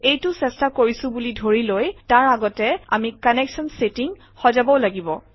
এইটো চেষ্টা কৰিছোঁ বুলি ধৰি লৈ তাৰ আগতে আমি কানেক্সন ছেটিঙ সজাবও লাগিব